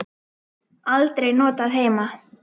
Aldrei notað heima.